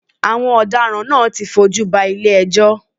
Àwọn ọ̀daràn náà ti fi ojú ba ilé ẹjọ́.